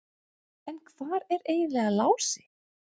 En hvar er eiginlega Lási?